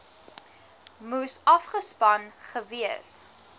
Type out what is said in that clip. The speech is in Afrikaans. moes afgespan gewees